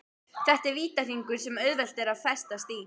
Þetta er vítahringur sem auðvelt er að festast í.